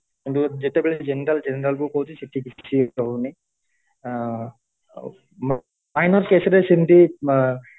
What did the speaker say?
ଯେତେବେଳେ general general କୁ କହୁଛି ସେଠି କିଛି ରହୁନି ଅ ଆଉ minor case ରେ ସେମିତି ଅ